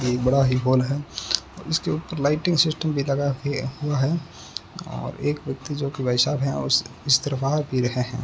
एक बड़ा ही बाल है जिसके ऊपर लाइटिंग सिस्टम भी लगा हुआ है और एक व्यक्ति जोकि भाई साहब हैं उस इस तरफ आ भी रहे हैं।